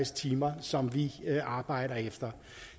timer som vi arbejder efter